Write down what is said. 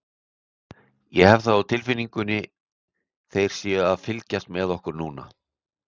Ég hef það á tilfinningunni þeir séu að fylgjast með okkur núna.